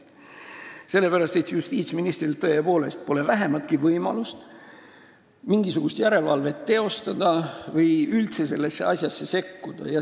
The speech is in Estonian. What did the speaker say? Sellepärast, et justiitsministril tõepoolest ei ole vähimatki võimalust mingisugust järelevalvet teostada või üldse sellesse asjasse sekkuda.